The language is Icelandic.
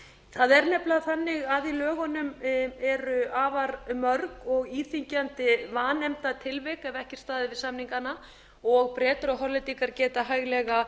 það er nefnilega þannig að í lögunum eru afar mörg og íþyngjandi vanefndatilvik ef ekki er staðið við samningana og bretar og hollendingar geta hæglega